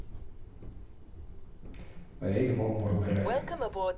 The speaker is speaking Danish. Hvad jeg ikke må, må du heller ikke.